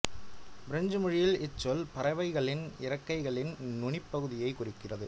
French மொழியில் இச்சொல் பறவைகளின் இறக்கைகளின் நுனிப் பகுதியையும் குறிக்கிறது